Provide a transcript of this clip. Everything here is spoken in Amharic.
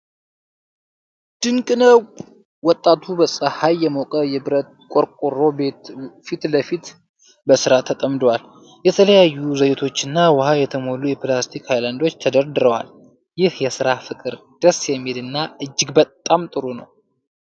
ድንቅ ነው! ወጣቱ በፀሐይ የሞቀ የብረት ቆርቆሮ ቤት ፊት ለፊት በስራ ተጠምዷል። የተለያዩ ዘይቶችና ውሃ የሞሉ የፕላስቲክ ሃይላንዶች ተደርድረዋል። ይህ የሥራ ፍቅር ደስ የሚል እና እጅግ በጣም ጥሩ ነው።